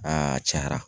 Aa cayara